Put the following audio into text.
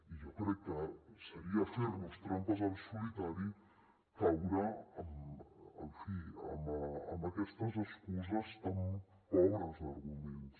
i jo crec que seria fer nos trampes al solitari caure en fi amb aquestes excuses tan pobres d’arguments